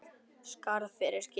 Skarð fyrir skildi.